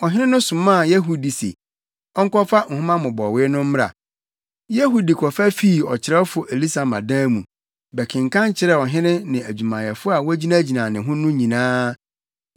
Ɔhene no somaa Yehudi se, ɔnkɔfa nhoma mmobɔwee no mmra. Yehudi kɔfa fii ɔkyerɛwfo Elisama dan mu, bɛkenkan kyerɛɛ ɔhene ne adwumayɛfo a wogyinagyina ne ho no nyinaa.